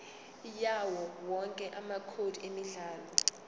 yawowonke amacode emidlalo